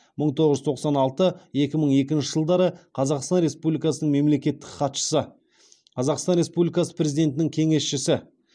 мың тоғыз жүз тоқсан алты екі мың екінші жылдары қазақстан республикасының мемлекеттік хатшысы қазақстан республикасы президентінің кеңесшісі